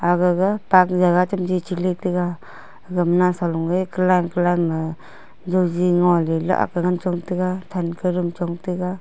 agge ga park jaga chamji che le taiga agma nausa lunge joji ngole la akle ngan chong tega than ka dum chong tega.